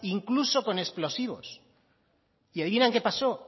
incluso con explosivos y adivinan qué pasó